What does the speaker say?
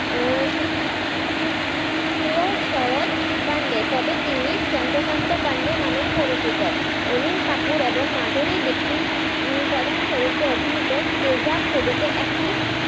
আহ সু সুয়দ সরদপান্ডে তবে তিনি চন্দ্রকান্ত পান্ডে নামেও পরিচিত অনিল কাপুর এবং মাধুরি দীক্ষিত উম প্রধান চরিত্রে অভিনিত তেজাব ছবিতে একটি,